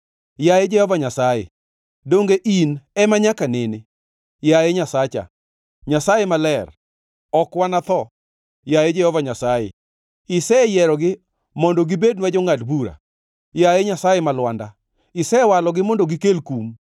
Yaye Jehova Nyasaye, donge in ema nyaka nene? Yaye, Nyasacha, Nyasaye Maler, ok wanatho. Yaye Jehova Nyasaye, iseyierogi mondo gibednwa jongʼad bura. Yaye Nyasaye ma Lwanda, isewalogi mondo gikel kum.